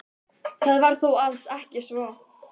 Það var þó alls ekki svo.